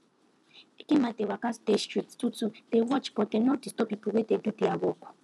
eke men dey waka dey street two two dey watch but dem no disturb people wey dey do their work